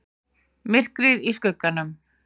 MYRKRIÐ Í SKUGGANUM